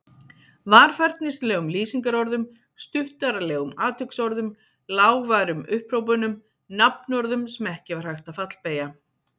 Varfærnislegum lýsingarorðum, stuttaralegum atviksorðum, lágværum upphrópunum, nafnorðum sem ekki var hægt að fallbeygja.